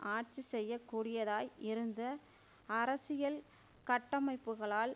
ஆட்சி செய்ய கூடியதாய் இருந்த அரசியல் கட்டமைப்புக்களால்